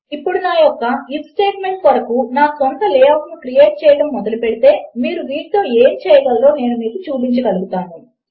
ఇప్పుడు నా యొక్క ఐఎఫ్ స్టేట్మెంట్ కొరకు నా స్వంత లే అవుట్ ను క్రియేట్ చేయడము మొదలుపెడితే మీరు వీటితో ఏమి చేయగలరో నేను మీకు చూపించగలుగుతాను